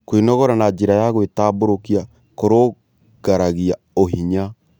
Kwĩnogora na njĩra ya gwĩtambũrũkĩa kũrũngaragĩa ũhinya